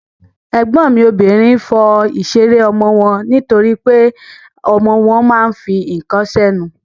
Ègbọ́n mi obìnrin fọ ìṣeré ọmọ wọn nítorípé ọmọ wọn ma ń fi ǹkan sẹ́nu.